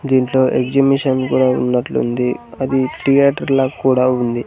దీంట్లో ఎగ్జిబిషన్ కూడా ఉన్నట్లుంది అది థియేటర్ల కూడా ఉంది.